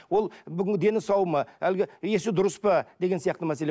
ол бүгін дені сау ма әлгі есі дұрыс па деген сияқты мәселе